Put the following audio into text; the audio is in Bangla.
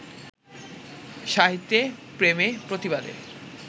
সাহিত্যে প্রেমে-প্রতিবাদে